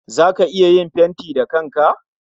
Zaka iya yin fentin dakin ka?